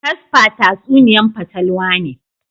Casper tatsuniya'n fatalwa ne.